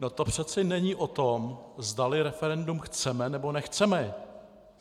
No to přece není o tom, zdali referendum chceme, nebo nechceme.